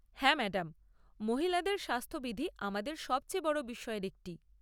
হ্যাঁ, ম্যাডাম, মহিলাদের স্বাস্থ্যবিধি আমাদের সবচেয়ে বড় বিষয়ের একটি।